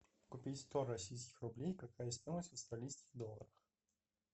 купить сто российских рублей какая стоимость в австралийских долларах